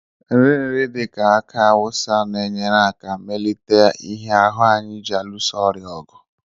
nrì nrì dị ka aki awusa na-enyere aka melite ihe ahụ anyị ji alụso ọrịa ọgụ